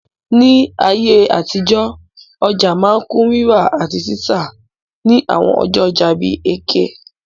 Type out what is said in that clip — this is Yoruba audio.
Ní ayé àtijọ́, ọja ma n kun rírà àtí títà ni àwon ọjọ́ ojà bi Eke